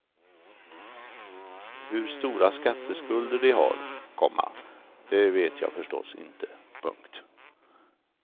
Hur stora skatteskulder de har, komma det vet jag förstås inte. punkt